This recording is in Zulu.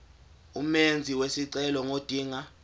umenzi wesicelo ngodinga